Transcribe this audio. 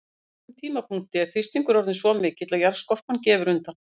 Á einhverjum tímapunkti er þrýstingur orðinn svo mikill að jarðskorpan gefur undan.